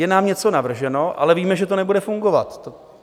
Je nám něco navrženo, ale víme, že to nebude fungovat.